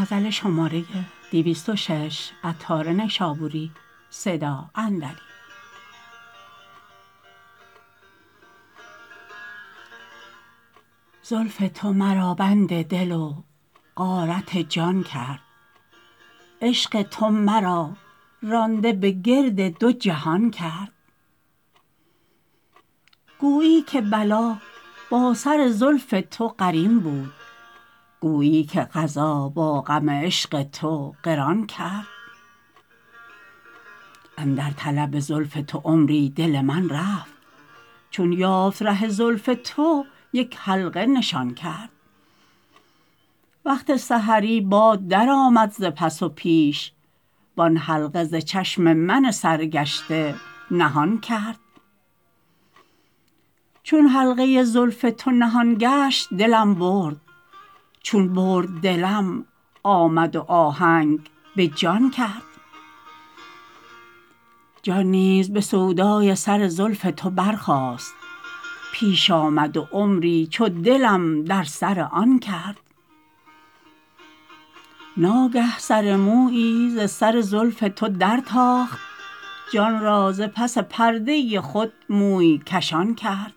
زلف تو مرا بند دل و غارت جان کرد عشق تو مرا رانده به گرد دو جهان کرد گویی که بلا با سر زلف تو قرین بود گویی که قضا با غم عشق تو قران کرد اندر طلب زلف تو عمری دل من رفت چون یافت ره زلف تو یک حلقه نشان کرد وقت سحری باد درآمد ز پس و پیش وان حلقه ز چشم من سرگشته نهان کرد چون حلقه زلف تو نهان گشت دلم برد چون برد دلم آمد و آهنگ به جان کرد جان نیز به سودای سر زلف تو برخاست پیش آمد و عمری چو دلم در سر آن کرد ناگه سر مویی ز سر زلف تو در تاخت جان را ز پس پرده خود موی کشان کرد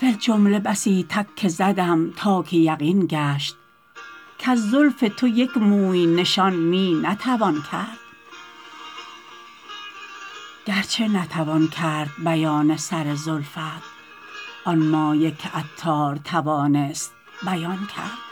فی الجمله بسی تک که زدم تا که یقین گشت کز زلف تو یک موی نشان می نتوان کرد گرچه نتوان کرد بیان سر زلفت آن مایه که عطار توانست بیان کرد